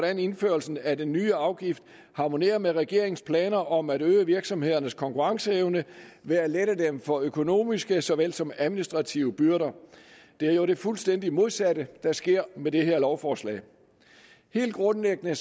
at indførelsen af den nye afgift harmonerer med regeringens planer om at øge virksomhedernes konkurrenceevne ved at lette dem for økonomiske såvel som administrative byrder det er jo det fuldstændig modsatte der sker med det her lovforslag helt grundlæggende